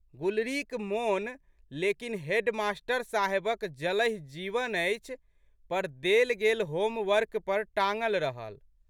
गुलरीक मोन लेकिन, हेडमास्टर साहेबक जलहि जीवन अछि" पर देल गेल होम वर्क पर टाँगल रहल।